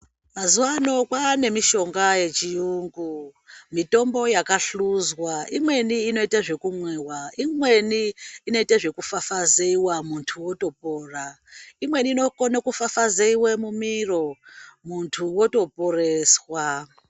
Mazuwa ano kwaane mishonga yechiyungu mitombo yakahluzwa imweni inoite zvekumwiwa imweni inoite zvekufafazeiwa muntu otopona imweni inokone kufafaizeiwe mumiro muntu otoporeswa.